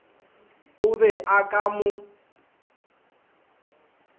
o be a ka mo